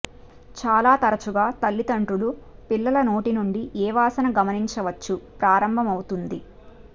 చాలా తరచుగా తల్లిదండ్రులు పిల్లల నోటి నుండి ఏ వాసన గమనించవచ్చు ప్రారంభమవుతుంది